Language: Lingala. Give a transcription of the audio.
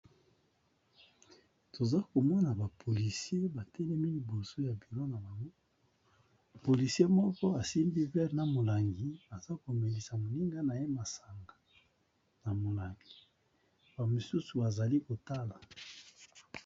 Toza komona, ba polisie batenemi liboso ya bilo na bango. Polisie moko, asimbi vere na molangi, aza komelisa moninga na ye masanga na molangi. Ba mosusu bazali kotala.